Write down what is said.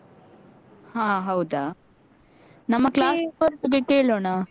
ಹ ಹೌದಾ ಮತ್ತೇ. ನಮ್ಮ class ನವರೊಟ್ಟಿಗೆ ಕೇಳೋಣ